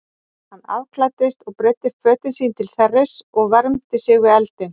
Hann afklæddist og breiddi fötin sín til þerris og vermdi sig við eldinn.